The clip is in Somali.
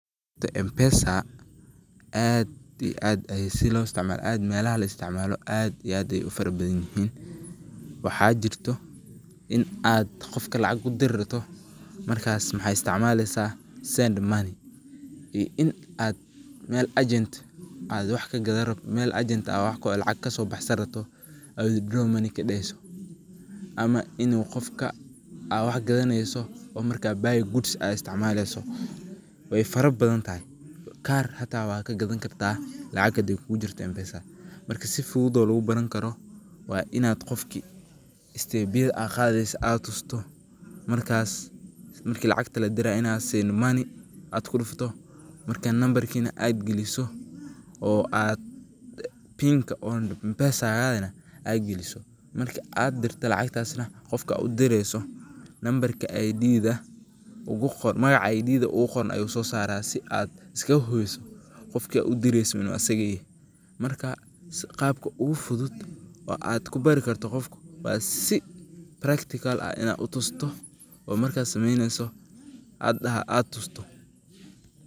Mpesa aad ii aad ayaa si loo istacmaalo aad meelaha la istacmaalo aad ii aad ayaay u farabadanyihin. Waxaa jirto in ad qofka lacag u dir rabto, markas maxaa istacmaalaysaa send money ii in ad meel agent ad wax ka gadan rabto, meel agent ad lacag ka soo baxsan rabto oo withdraw money ka dhahayso, ama inuu qofka aa wax gadanayso oo marka buy goods ad istacmaalayso. Way farabadantahay. Kaar hata waa ka gadan kartaa lacag hadaay kugu jirto Mpesa. Marka, si fudud oo lugu baran karo waa inaad qofki stepyiida ad qaadayso aad tusto, markas markii lacagta la diray inaad send money ad ku dhufuto markaan nambarkiina ad geliso oo aad pinka oona mpesagana ad geliso. Marka ad dirto lacagtasna qofka u dirayso nambarka I.Dda uguqoran magaca ugu qoran ayuu soo saara si ad iskaga hubiso qofka udirayso inuu asig yahay. marka, qaabka ugu fudud oo aad ku bari karto qofku, waa si practical ah inaa utusto oo markas samaynayso aad tusto